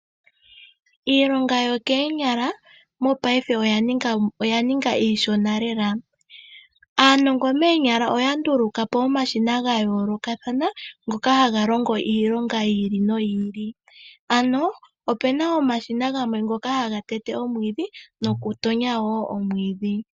Iilonga yookonyala mongashingeyi oya ninga iishona lela. Aanongo moonyala oya nduluka po omashina ga yoolokathana ngoka haga longo iilonga yi ili noyi ili. Ope na omashina ngoka haga tete omwiidhi nokutonya omwiidhi.